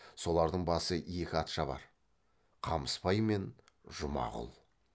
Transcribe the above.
солардың басы екі атшабар қамысбай мен жұмағұл